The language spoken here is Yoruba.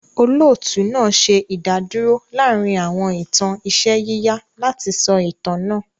Olóòtú náà ṣe ìdádúrò láàárín àwọn ìtàn iṣẹ́ yíyà láti sọ itan náà.